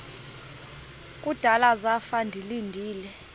kudala zafa ndilinde